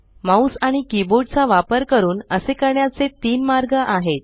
mouse आणि keyboard चा वापर करून असे करण्याचे तीन मार्ग आहेत